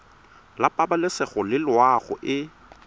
la pabalesego le loago e